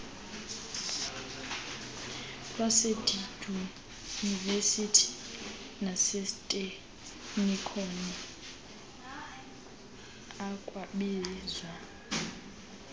lwasezidyunivesithi naseziteknikoni ikwabizwa